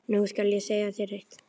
Nú skal ég segja þér eitt.